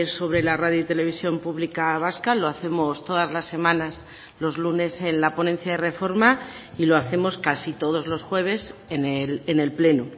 sobre la radio televisión pública vasca lo hacemos todas las semanas los lunes en la ponencia de reforma y lo hacemos casi todos los jueves en el pleno